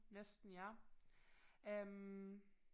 Næsten ja øh